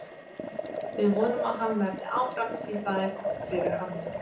Við vonum að hann verði áfram því það er gott fyrir hann.